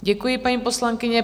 Děkuji, paní poslankyně.